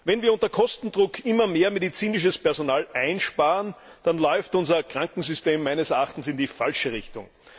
Wenn wir unter Kostendruck immer mehr medizinisches Personal einsparen, dann läuft unser Krankensystem meines Erachtens in die falsche Richtung.